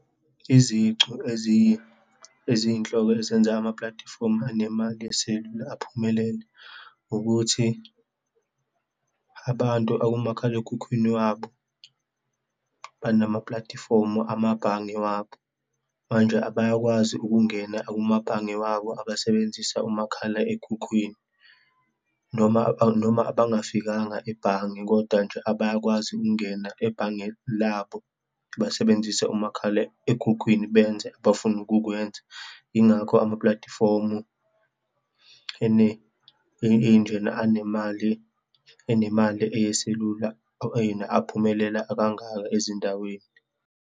Izicu eziyi, eziyinhloko ezenza amapulatifomu anemali eselula aphumelele, ukuthi abantu akumakhalekhukhwini wabo, banamapulatifomu amabhange wabo. Manje abayakwazi ukungena kumabhange wabo abasebenzisa umakhalekhukhwini, noma noma bangafikanga ebhange, kodwa nje abayakwazi ukungena ebhange labo basebenzise umakhalekhukhwini benze abafuna ukukwenza, yingakho amapulatifomu ene iy'ndlela anemali, enemali eyeselula and ephumelela kangaka ezindaweni.